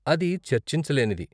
అది చర్చించలేనిది.